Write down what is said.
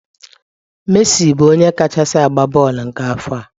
Messi bụ onye kachasi agba bọọlụ nke afọ a.